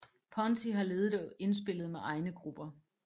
Ponty har ledet og indspillet med egne grupper